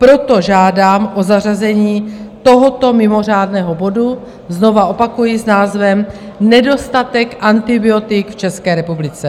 Proto žádám o zařazení tohoto mimořádného bodu, znovu opakuji, s názvem Nedostatek antibiotik v České republice.